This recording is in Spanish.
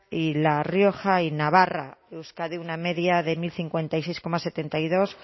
y la rioja y navarra euskadi una media de mil cincuenta y seis coma setenta y dos